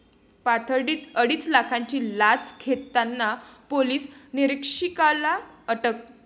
पाथर्डीत अडीच लाखांची लाच घेताना पोलीस निरीक्षकाला अटक